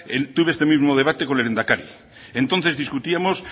tuve este mismo debate con el lehendakari entonces discutíamos